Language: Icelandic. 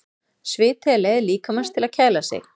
Sviti er leið líkamans til þess að kæla sig.